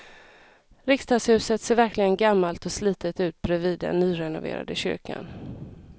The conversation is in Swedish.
Riksdagshuset ser verkligen gammalt och slitet ut bredvid den nyrenoverade kyrkan.